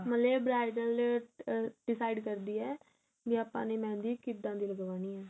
ਮਤਲਬ ਜੇ bridal ਆ decide ਕਰਦੀ ਏ ਬੀ ਆਪਾਂ ਨੇ mehendi ਕਿੱਦਾ ਦੀ ਲੱਗਵਾਣੀ ਏ